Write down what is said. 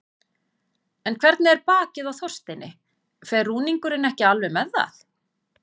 En hvernig er bakið á Þorsteini, fer rúningurinn ekki alveg með það?